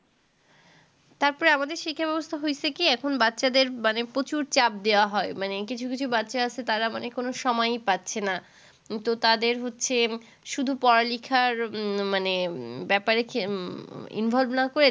তারপরে আমাদের শিক্ষা-ব্যবস্থা হয়েছে কি, এখন বাচ্চাদের মানে প্রচুর চাপ দেওয়া হয়। মানে কিছু কিছু বাচ্চা আছে তারা মানে কোন সময়ই পাচ্ছে না। তো তাদের হচ্ছে শুধু পড়া-লিখার উম মানে ব্যাপারেকি উম involve না করে